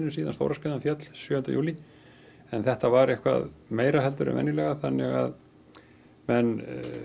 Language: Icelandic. síðan stóra skriðan féll sjöunda júlí en þetta var eitthvað meira þannig að menn